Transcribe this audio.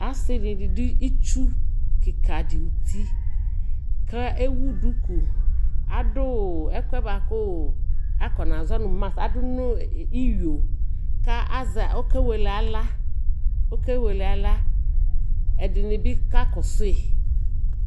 asii dini dʋ itsʋ kikaa di ʋti kʋ ɛwʋ dʋkʋ, adʋ ɛkʋɛ bakʋ akɔna zɔnʋ mask, adʋnʋ iyɔɔ kʋ ɔkɛ wɛlɛ ala, ɔkɛ wɛlɛ ala, ɛdinibi kakɔsʋi